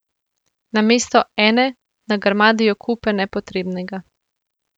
Namesto ene nagrmadijo kupe nepotrebnega.